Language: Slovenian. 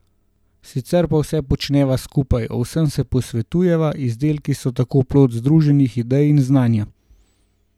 Sicer pa vse počneva skupaj, o vsem se posvetujeva, izdelki so tako plod združenih idej in znanja.